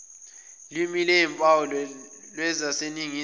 limi lwezimpawu lwaseningizimu